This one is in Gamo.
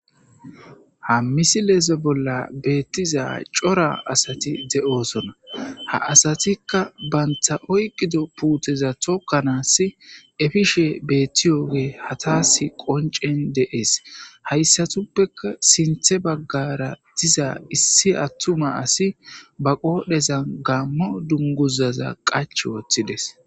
ha misileze bolla beettiza cora asati de7oosona ha asatikka banta oyqido puuteza tokkanaas efishe beettiyoge hataas qoncen deees hayssatuppeka sinthe baggara diza issi attuma asi ba qoodhezan gammo dunguzaza qach wooththides